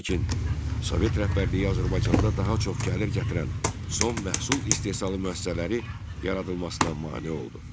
Lakin Sovet rəhbərliyi Azərbaycanda daha çox gəlir gətirən son məhsul istehsalı müəssisələri yaradılmasına mane oldu.